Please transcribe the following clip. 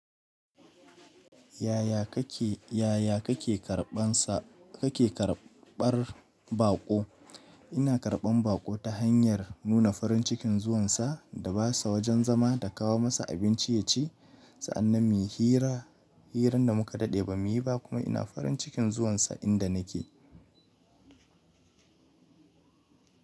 Yaya kake, yaya kake karɓan sa kake karɓar baƙo? Ina karɓan baƙo ta hanyar nuna farin cikin zuwan sa da ba sa wajen zama da kawo masa abinci ya ci. Sa'an nan muyi hira, hiran da mu ka daɗe ba mu yi ba kuma ina farin cikin zuwan sa inda nake.